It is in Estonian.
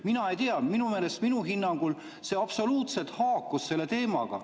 Mina ei tea, minu meelest, minu hinnangul see absoluutselt haakus teemaga.